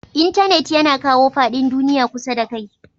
Intenet yana kawo fadin duniyya kusa da kai.